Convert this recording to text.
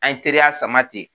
An ye teriya sama ten